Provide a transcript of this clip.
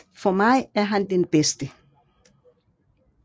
For mig er han den bedste